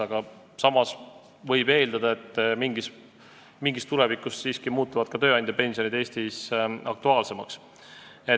Aga samas võib eeldada, et kunagi tulevikus muutuvad ka tööandjapensionid Eestis siiski aktuaalsemaks.